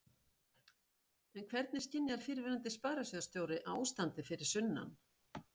En hvernig skynjar fyrrverandi sparisjóðsstjóri ástandið fyrir sunnan?